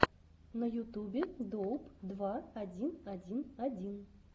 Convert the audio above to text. на ютюбе доуп два один один один